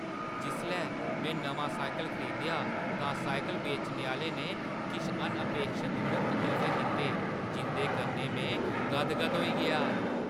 जिसलै में नमां साइकल खरीदेआ तां साइकल बेचने आह्‌ले ने किश अनअपेक्षत मुख्त तोह्‌फे दित्ते जिंʼदे कन्नै में गदगद होई गेआ।